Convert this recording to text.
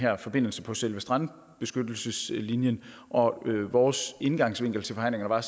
her forbindelse på selve strandbeskyttelseslinjen og vores indgangsvinkel til forhandlingerne var